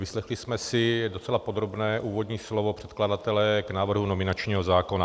Vyslechli jsme si docela podrobné úvodní slovo předkladatele k návrhu nominačního zákona.